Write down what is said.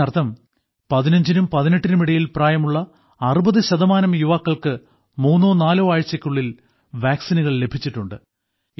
ഇതിനർത്ഥം 15 നും 18 നും ഇടയിൽ പ്രായമുള്ള 60 ശതമാനം യുവാക്കൾക്ക് മൂന്നോ നാലോ ആഴ്ചകൾക്കുള്ളിൽ വാക്സിനുകൾ ലഭിച്ചിട്ടുണ്ട്